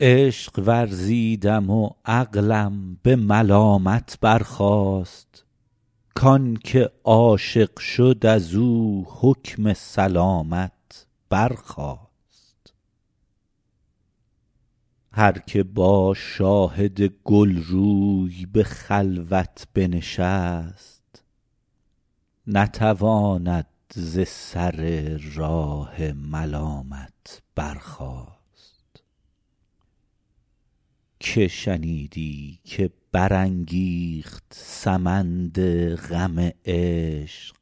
عشق ورزیدم و عقلم به ملامت برخاست کان که عاشق شد از او حکم سلامت برخاست هر که با شاهد گل روی به خلوت بنشست نتواند ز سر راه ملامت برخاست که شنیدی که برانگیخت سمند غم عشق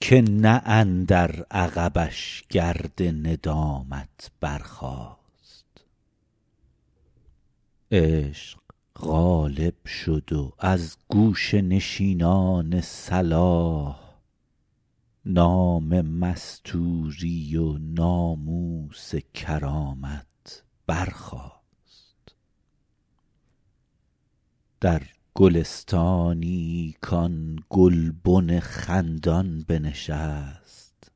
که نه اندر عقبش گرد ندامت برخاست عشق غالب شد و از گوشه نشینان صلاح نام مستوری و ناموس کرامت برخاست در گلستانی کآن گلبن خندان بنشست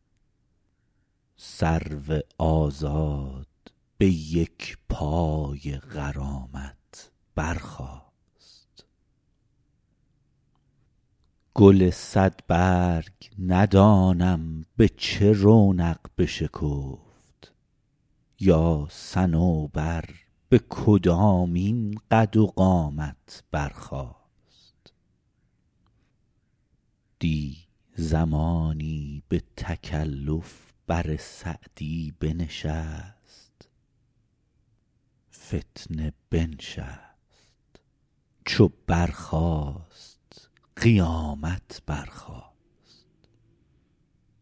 سرو آزاد به یک پای غرامت برخاست گل صدبرگ ندانم به چه رونق بشکفت یا صنوبر به کدامین قد و قامت برخاست دی زمانی به تکلف بر سعدی بنشست فتنه بنشست چو برخاست قیامت برخاست